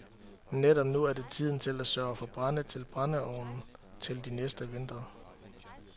Netop nu er det tiden til at sørge for brænde til brændeovnen til de næste vintre.